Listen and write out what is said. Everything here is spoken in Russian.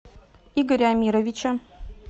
игоря амировича